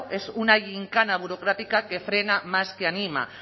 es una yincana burocrática que frena más que anima